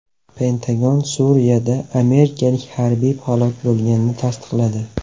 Pentagon Suriyada amerikalik harbiy halok bo‘lganini tasdiqladi.